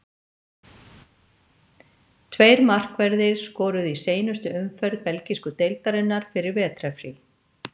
Tveir markverðir skoruðu í seinustu umferð belgísku deildarinnar fyrir vetrarfrí.